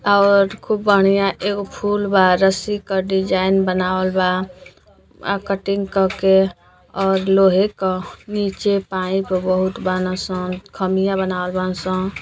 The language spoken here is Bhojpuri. और खूब बढ़िया एगो फूल बार रस्सी पर डिजाइन बनावल बा आ कटिंग कके और लोहे क नीचे पाइप बहुत बान सन खामियां बनावल बान सं |